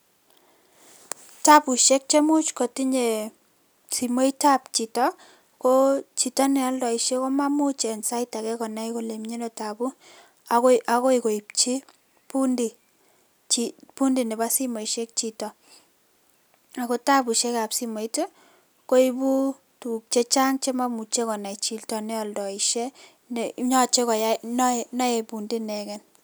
Tabushek cheimuch kotinye simoitab chito ko chito neoldoishe komamuch konai en sait akee konai kole mii anoo tabuu akoi koibchi bundi nebo simoishek chito, ak ko tabushekab simoit koibu tukuk chechang chemaimuche konai chito neoldoishe yoche koyai, noee bundi ineken.